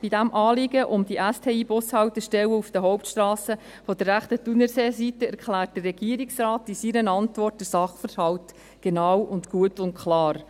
Bei diesem Anliegen um die STIBushaltestellen auf den Hauptstrassen der rechten Thunerseeseite erklärt der Regierungsrat in seiner Antwort den Sachverhalt genau, gut und klar: